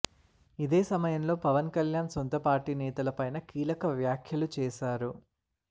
ఇదే సమయంలో పవన్ కళ్యాణ్ సొంత పార్టీ నేతల పైన కీలక వ్యాఖ్యలు చేసారు